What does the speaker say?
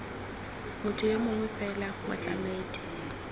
motho yo mongwe fela motlamedi